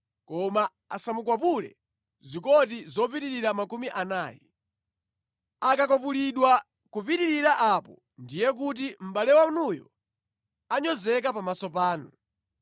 koma asamukwapule zikoti zopitirira makumi anayi. Akakwapulidwa kupitirira apo ndiye kuti mʼbale wanuyo anyozeka pamaso panu.